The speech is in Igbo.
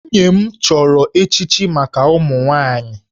Nwunye m chọrọ echichi maka ụmụ nwaanyị